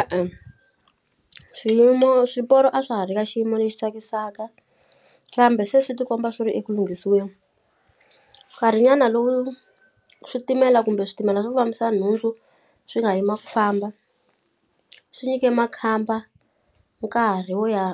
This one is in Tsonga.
E-e swiyimo swiporo a swa ha ri ka xiyimo lexi tsakisaka kambe se swi ti komba swi ri eku lunghisiweni nkarhi nyana lowu switimela kumbe switimela swo fambisa nhundzu swi nga yima ku famba swi nyike makhamba nkarhi wo ya